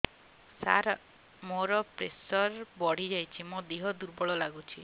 ସାର ମୋର ପ୍ରେସର ବଢ଼ିଯାଇଛି ମୋ ଦିହ ଦୁର୍ବଳ ଲାଗୁଚି